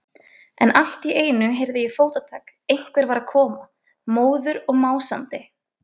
En allt í einu heyrði ég fótatak, einhver var að koma, móður og másandi.